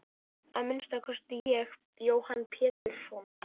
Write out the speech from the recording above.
Að minnsta kosti ég Jóhann Pétursson.